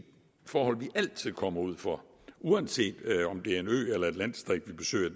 forhold vi altid kommer ud for uanset om det er en ø eller et landdistrikt vi besøger